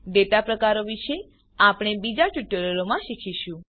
data પ્રકારો વિશે આપણે બીજા ટ્યુટોરીયલમાં શીખીશું